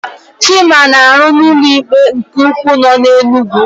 Chima na-arụ na ụlọikpe nke ukwu nọ n'Enugwu.